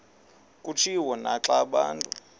kutshiwo naxa abantu